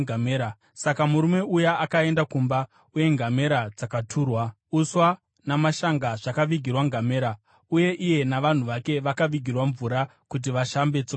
Saka murume uya akaenda kumba, uye ngamera dzakaturwa. Uswa namashanga zvakavigirwa ngamera, uye iye navanhu vake vakavigirwa mvura kuti vashambe tsoka dzavo.